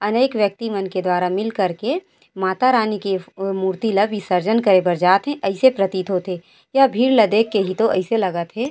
अनेक व्यक्ति मन के दुवारा मिल कर के माता रानी की फ मूर्ति ल विसर्जन करे बरजात है ऐसे प्रतीत होते यह भीड़ ला देख के इतो ऐसे लागत है।